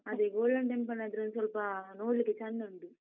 ಅದೇ golden temple ಆದ್ರೆ ಒಂದ್ ಸ್ವಲ್ಪ ನೋಡ್ಲಿಕ್ಕೆ ಚಂದ ಉಂಟು.